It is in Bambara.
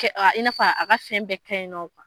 I n'a fɔ a ka fɛn bɛɛ kɛ ɲi nɔ.